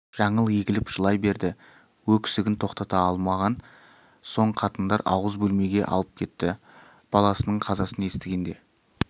жаңыл егіліп жылай берді өксігін тоқтата алмаған соң қатындар ауыз бөлмеге алып кетті баласының қазасын естігенде